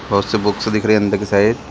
बहोत सी बुक दिख रही है अंदर के साइड --